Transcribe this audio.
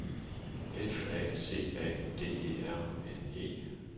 F A C A D E R N E